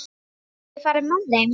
Geturðu ekki farið með þeim?